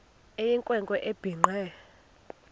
eyinkwe nkwe ebhinqe